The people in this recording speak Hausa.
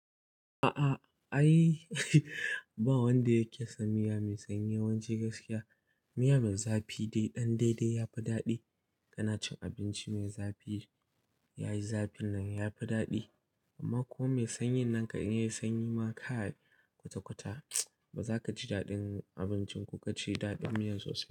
A'a, ai ba wanda yake son miya mai sanyi. Yawanci gaskiya, miya mai zafi dai ɗan daidai yafi daɗi. Kana cin abinci mai zafi yayi zafin nan yafi daɗi. Amma ko mai sanyin nan kan in yayi sanyi ma kai kwata-kwata ba za ka ji daɗin abincin ko ka ci daɗin miyan sosai.